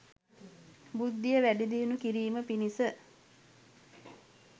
බුද්ධිය වැඩි දියුණු කිරීම පිණිස